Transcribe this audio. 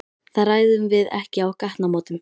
Það ræðum við ekki á gatnamótum.